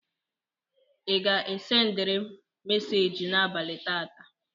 Ị ga-sendịrị meseji n'abalị tata?